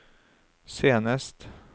senest